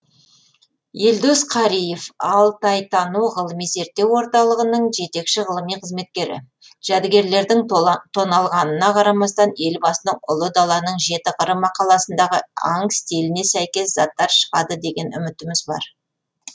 елдос қариев алтайтану ғылыми зерттеу орталығының жетекші ғылыми қызметкері жәдігерлердің тоналғанына қарамастан елбасының ұлы даланың жеті қыры мақаласындағы аң стиліне сәйкес заттар шығады деген үмітіміз бар